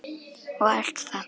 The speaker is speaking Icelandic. og allt það.